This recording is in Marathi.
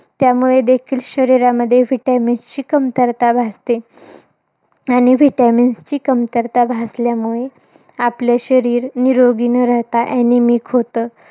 त्यामुळे देखील शरीरामध्ये vitamins ची कमतरता भासते. आणि vitamins ची कमतरता भासल्यामुळे, आपले शरीर निरोगी न राहता anemic होतं.